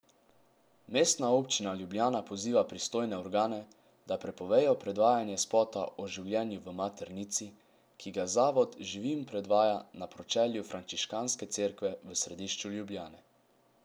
Mestna občina Ljubljana poziva pristojne organe, da prepovejo predvajanje spota o življenju v maternici, ki ga zavod Živim predvaja na pročelju frančiškanske cerkve v središču Ljubljane.